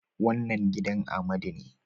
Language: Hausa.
Wannan gidan Amadu ne